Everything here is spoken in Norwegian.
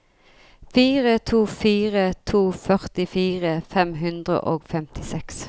fire to fire to førtifire fem hundre og femtiseks